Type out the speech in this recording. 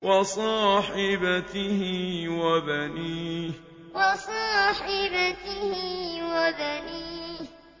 وَصَاحِبَتِهِ وَبَنِيهِ وَصَاحِبَتِهِ وَبَنِيهِ